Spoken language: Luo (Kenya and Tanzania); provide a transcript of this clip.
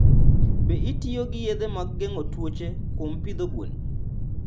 Be itiyo gi yedhe ma geng'o tuoche kuom pidho gwen?